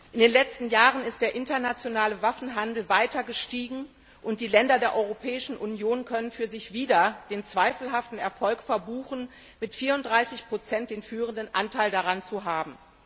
In den letzten Jahren ist der internationale Waffenhandel weiter gestiegen, und die Länder der Europäischen Union können für sich wieder den zweifelhaften Erfolg verbuchen, mit 34 den führenden Anteil daran zu haben.